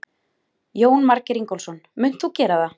Jónar Margeir Ingólfsson: Munt þú gera það?